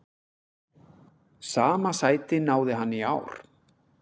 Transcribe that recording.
Sama sæti náði hann í ár.